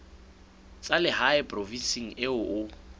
tsa lehae provinseng eo o